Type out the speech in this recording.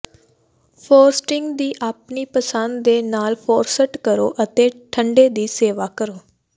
frosting ਦੀ ਆਪਣੀ ਪਸੰਦ ਦੇ ਨਾਲ ਫਰੌਸਟ ਕਰੋ ਅਤੇ ਠੰਡੇ ਦੀ ਸੇਵਾ ਕਰੋ